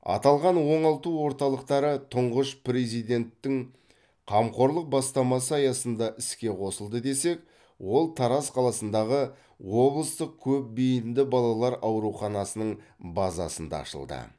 аталған оңалту орталықтары тұңғыш президенттің қамқорлық бастамасы аясында іске қосылды десек ол тараз қаласындағы облыстық көпбейінді балалар ауруханасының базасында ашылды